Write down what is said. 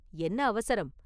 என்ன அவசரம்?